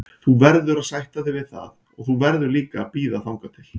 Þú verður að sætta þig við það og þú verður líka að bíða þangað til.